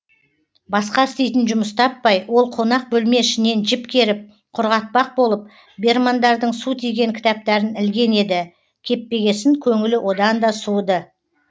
басқа істейтін жұмыс таппай ол қонақ бөлме ішінен жіп керіп құрғатпақ болып бермандардың су тиген кітаптарын ілген еді кеппегесін көңілі одан да суыды